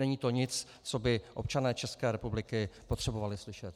Není to nic, co by občané České republiky potřebovali slyšet.